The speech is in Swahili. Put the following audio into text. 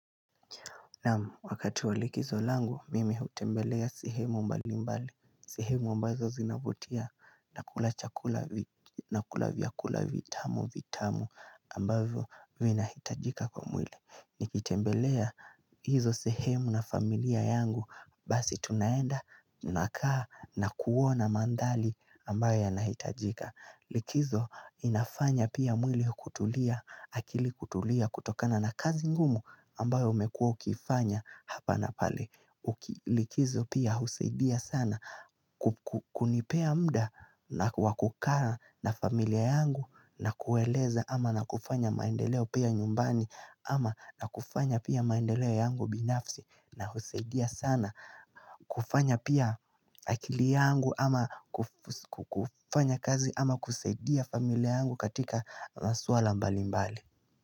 Naam, wakati walikizo langu, mimi hutembelea sehemu mbali mbali, sehemu ambazo zinavutia, nakula chakula, nakula vyakula vitamu vitamu ambavyo vina hitajika kwa mwili. Nikitembelea hizo sehemu na familia yangu, basi tunaenda, tunakaa na kuona mandhari ambayo yanahitajika. Likizo inafanya pia mwili kutulia akili kutulia kutokana na kazi ngumu ambayo umekuwa ukifanya hapa na pale Likizo pia husaidia sana kukunipea mda na kukaa na familia yangu na kueleza ama na kufanya maendeleo pia nyumbani ama na kufanya pia maendeleo yangu binafsi na husaidia sana kufanya pia akili yangu ama kufanya kazi ama kusaidia familia yangu katika masuala mbali mbali.